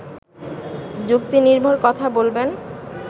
যুক্তিনির্ভর কথা বলবেন